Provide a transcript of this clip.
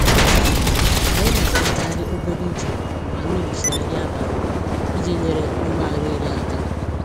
Anyị na-agakarị obere ije mgbe anyị richaa nri abalị iji nyere mgbari nri aka.